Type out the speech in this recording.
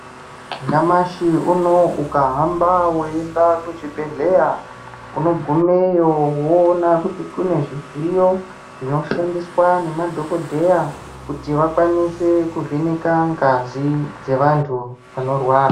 Nyamashi unowu ukahamba weienda kuzvibhedhleya, unogumeyo woona kuti kune zvidziyo, zvinoshandiswa nemadhokodheya ,kuti vakwanise kuvheneka ngazi ,dzevantu vanorwara.